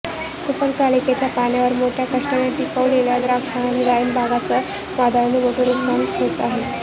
कूपनलिकांच्या पाण्यावर मोठ्या कष्टाने टिकवलेल्या द्राक्ष आणि डाळिंब बागांच वादळाने मोठे नुकसान होते आहे